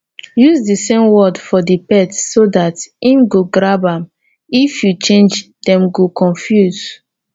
use di same word for di pet so dat im go grab am if you change dem go confuse